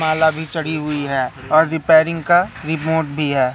माला भी चढ़ी हुई है और रिपेयरिंग का रिमोट भी है।